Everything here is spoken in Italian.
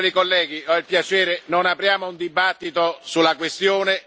Verhofstadt ha la mia piena fiducia e la fiducia della stragrande maggioranza del Parlamento.